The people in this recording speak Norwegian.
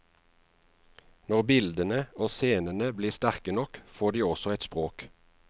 Når bildene og scenene blir sterke nok, får de også et språk.